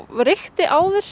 reykti áður